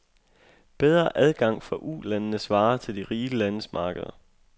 Bedre adgang for Ulandenes varer til de rige landes markeder.